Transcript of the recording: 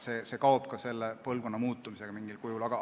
See risk kaob mingil kujul ka põlvkondade vahetusega.